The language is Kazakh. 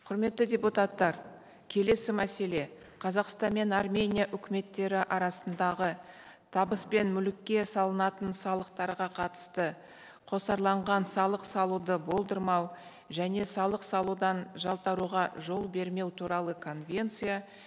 құрметті депутаттар келесі мәселе қазақстан мен армения үкіметтері арасындағы табыс пен мүлікке салынатын салықтарға қатысты қосарланған салық салуды болдырмау және салық салудан жалтаруға жол бермеу туралы конвенция